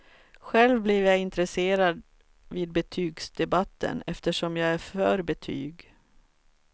Själv blev jag intresserad vid betygsdebatten, eftersom jag är för betyg.